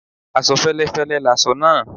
Aṣọ féléfélé láṣọ nàà